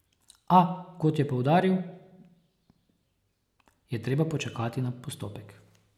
A, kot je poudaril, je treba počakati na postopek.